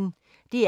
DR P1